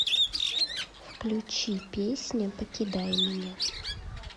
включи песня покидай меня